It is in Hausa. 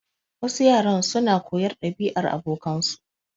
Wasu yaran su na koyar ɗabi'ar abokansa.